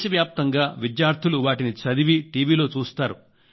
దేశవ్యాప్తంగా విద్యార్థులు వాటిని చదివి టీవీలో చూస్తారు